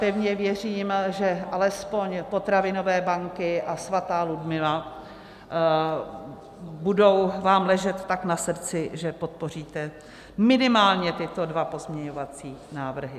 Pevně věřím, že alespoň potravinové banky a svatá Ludmila vám budou ležet tak na srdci, že podpoříte minimálně tyto dva pozměňovací návrhy.